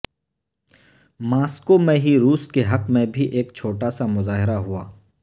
Moscow میں ہی روس کے حق میں بھی ایک چھوٹا سا مظاہرہ ہوا